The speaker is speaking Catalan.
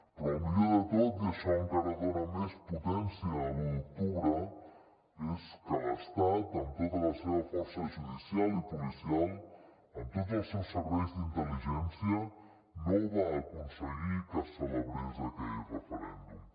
però el millor de tot i això encara dona més potència a l’u d’octubre és que l’estat amb tota la seva força judicial i policial amb tots els seus serveis d’intel·ligència no va aconseguir que no es celebrés aquell referèndum